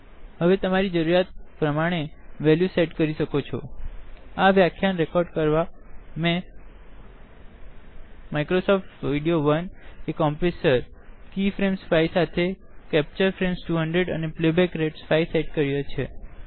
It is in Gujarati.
હવે તમારી જરૂરિયાત પ્રમાણે વેલ્યુ સેટ કરી શકો છોઆ વ્યાખ્યાન રેકોર્ડ કરવા મેં Microsoft video compressor key frame 5 સાથે કેપ્ચર ફ્રેમ 200 અને પ્લેબેક રેટ 5 સેટ કર્યો છે